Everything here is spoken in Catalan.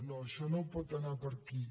no això no pot anar per aquí